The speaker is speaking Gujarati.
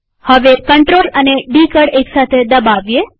હવે CTRL અને ડી કળ એક સાથે દબાવીએ